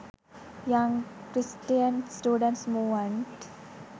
young christian students movement